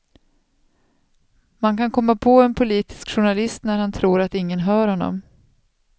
Man kan komma på en politisk journalist när han tror att ingen hör honom.